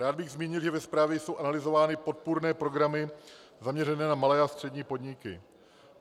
Rád bych zmínil, že ve zprávě jsou analyzovány podpůrné programy zaměřené na malé a střední podniky.